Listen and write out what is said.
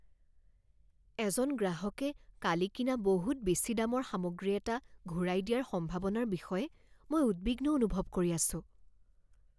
এজন গ্ৰাহকে কালি কিনা বহুত বেছি দামৰ সামগ্ৰী এটা ঘূৰাই দিয়াৰ সম্ভাৱনাৰ বিষয়ে মই উদ্বিগ্ন অনুভৱ কৰি আছোঁ।